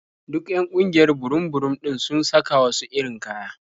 Duk 'yan ƙungiyar burum-burum ɗin sun saka wasu irin kaya.